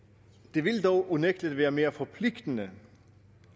det vil dog unægtelig være mere forpligtende